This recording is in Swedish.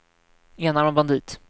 enarmad bandit